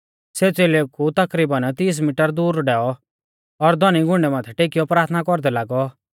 सेऊ च़ेलेऊ कु तकरीबन तीस मिटर दूर डैऔ और धौनी घुंडै माथै टेकियौ प्राथना कौरदै लागौ